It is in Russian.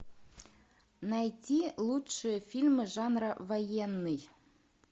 найти лучшие фильмы жанра военный